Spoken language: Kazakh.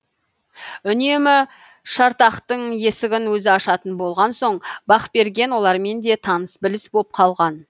үнемі шартақтың есігін өзі ашатын болған соң бақберген олармен де таныс біліс боп қалған